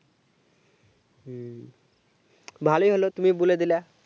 হুম ভালোই হলো তুমি বলে দিলা